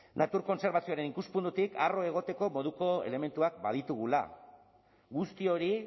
natur kontserbazioaren ikuspuntutik harro egoteko moduko elementuak baditugula guzti hori